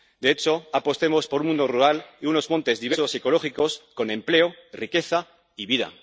De hecho, apostemos por un mundo rural y unos montes diversos y ecológicos con empleo, riqueza y vida.